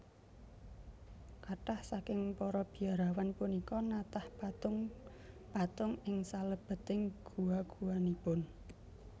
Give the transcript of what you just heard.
Kathah saking para biarawan punika natah patung patung ing salebeting gua guanipun